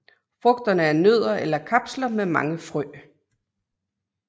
Frugterne er nødder eller kapsler med mange frø